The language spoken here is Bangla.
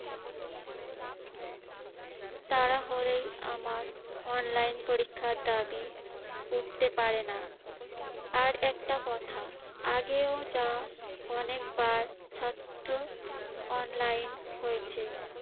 তা না হলে আমার online পরীক্ষার দাবি উঠতে পারে না। আর একটা কোথা, আগেও যা অনেকবার ছাত্র online হয়েছে